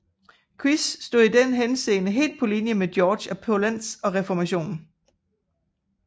Queis stod i den henseende helt på linje med Georg af Polentz og reformationen